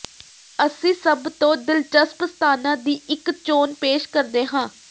ਅਸੀਂ ਸਭ ਤੋਂ ਦਿਲਚਸਪ ਸਥਾਨਾਂ ਦੀ ਇੱਕ ਚੋਣ ਪੇਸ਼ ਕਰਦੇ ਹਾਂ